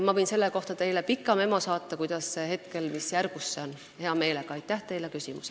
Ma võin teile pika memo saata selle kohta, mis järgus see hetkel on, hea meelega.